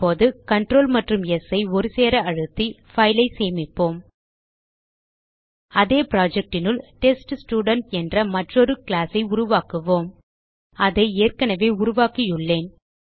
இப்போது கன்ட்ரோல் மற்றும் ஸ் ஐ ஒரே நேரத்தில் அழுத்தி பைல் ஐ சேமிப்போம் அதே projectனுள் டெஸ்ட்ஸ்டுடென்ட் என்ற மற்றொரு கிளாஸ் ஐ உருவாக்குவோம் அதை ஏற்கனவே உருவாக்கியுள்ளேன்